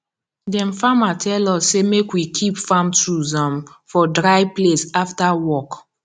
dem farmer tell us say make we keep farm tools um for dry place after work